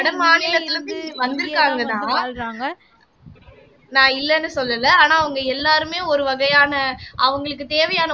வட மாநிலத்தில இருந்து வந்திருக்காங்கதான் நான் இல்லைன்னு சொல்லலை ஆனா அவங்க எல்லாருமே ஒரு வகையான அவங்களுக்கு தேவையான